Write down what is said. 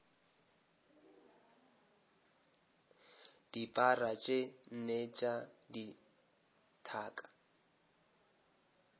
dipara tše nne tša dithaka